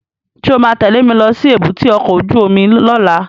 Sọ ma tẹ́lẹ̀ mi lọ sí èbúté ọkọ̀ óju omi lọ́la?